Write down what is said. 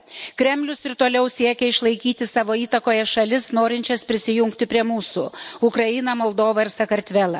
Kremlius ir toliau siekia išlaikyti savo įtakoje šalis, norinčias prisijungti prie mūsų Ukrainą, Moldovą ir Sakartvelą